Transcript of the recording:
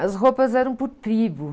As roupas eram por tribo.